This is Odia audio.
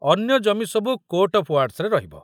ଅନ୍ୟ ଜମିସବୁ କୋର୍ଟ ଅଫ ୱାର୍ଡସରେ ରହିବ।